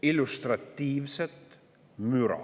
– illustratiivset müra.